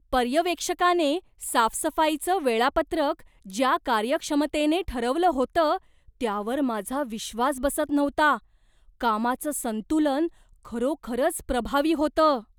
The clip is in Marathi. पर्यवेक्षकाने साफसफाईचं वेळापत्रक ज्या कार्यक्षमतेने ठरवलं होतं त्यावर माझा विश्वास बसत नव्हता! कामाचं संतुलन खरोखरच प्रभावी होतं.